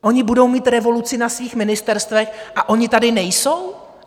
Oni budou mít revoluci na svých ministerstvech, a oni tady nejsou?